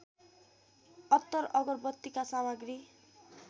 अत्तर अगरबत्तीका सामग्री